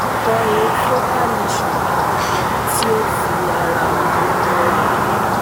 Ko e focal lesion kan kan ti o fi ara han ara han